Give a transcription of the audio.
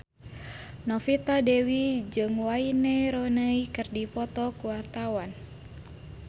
Novita Dewi jeung Wayne Rooney keur dipoto ku wartawan